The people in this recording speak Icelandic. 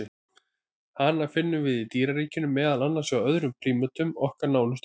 Hana finnum við í dýraríkinu, meðal annars hjá öðrum prímötum, okkar nánustu ættingjum.